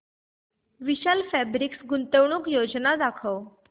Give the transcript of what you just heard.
विशाल fabrics गुंतवणूक योजना दाखव